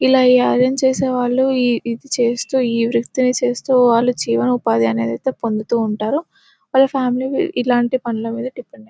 ఇలా ఈ ఐరన్ చేసే వాళ్ళు ఇది చూస్తూ ఈ వృత్తిని చేస్తూ వాళ్ళు జీవనోపాధి అనేది అయితే పొందుతూ ఉంటారు. వాళ్ల ఫ్యామిలీ లు ఇలాంటి పనుల మీద డిపెండ్ అయి --